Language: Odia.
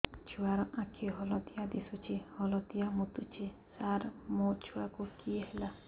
ଛୁଆ ର ଆଖି ହଳଦିଆ ଦିଶୁଛି ହଳଦିଆ ମୁତୁଛି ସାର ମୋ ଛୁଆକୁ କି ହେଲା